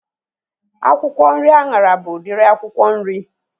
Akwụkwọ nri anyara bụ udiri akwụkwọ nri